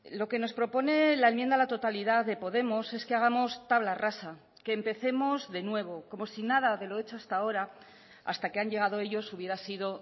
lo que nos propone la enmienda a la totalidad de podemos es que hagamos tabla rasa que empecemos de nuevo como si nada de lo hecho hasta ahora hasta que han llegado ellos hubiera sido